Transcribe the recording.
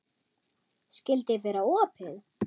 Skyldi vera opið?